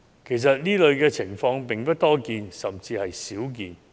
其實，這類情況並不多見，甚至是甚為少見。